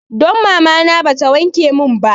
Dan mamana ba ta wanke mun ba